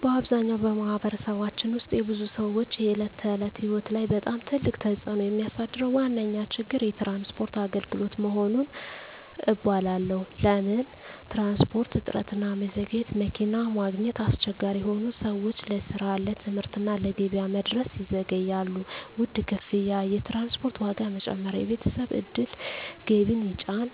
በአብዛኛው በማኅበረሰባችን ውስጥ የብዙ ሰዎች የዕለት ተዕለት ሕይወት ላይ በጣም ትልቅ ተፅዕኖ የሚያሳድረው ዋነኛ ችግር የትራንስፖርት አገልግሎት መሆኑን እባላለሁ። ለምን ትራንስፖርት? እጥረትና መዘግየት መኪና ማግኘት አስቸጋሪ ሆኖ ሰዎች ለስራ፣ ለትምህርት እና ለገበያ መድረስ ይዘገያሉ። ውድ ክፍያ የትራንስፖርት ዋጋ መጨመር የቤተሰብ ዕድል ገቢን ይጫን።